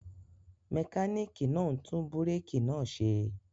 Mẹkánìkì náà ń tún búrékì náà ṣe